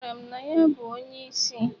Ọ gwara m na ya bụ onye isi.